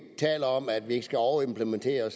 taler om at vi ikke skal overimplementere